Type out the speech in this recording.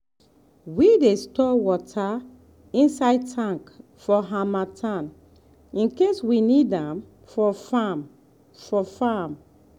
we dey store water inside tank for harmattan in case we need am for farm. for farm.